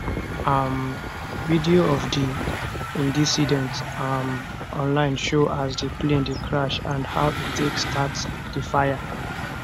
um videos of di indicident um online show as di plane dey crash and how e take start di fire